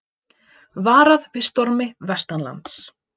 Varað við stormi vestanlands